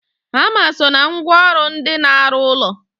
Hama so na ngwa ọrụ ndị na-arụ ụlọ